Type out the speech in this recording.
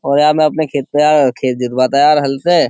और यार मैं अपने खेत पे यार खेत जितवाता यार हल से --